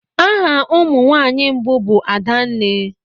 Aha ụmụ nwanyị mbụ bụ adenne.